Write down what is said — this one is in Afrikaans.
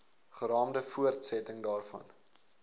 geraamde voortsetting daarvan